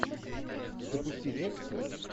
запусти лекцию